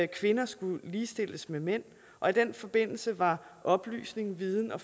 kvinder skulle ligestilles med mænd og i den forbindelse var oplysning viden og